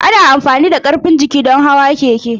Ana amfani da karfin jiki don hawan keke.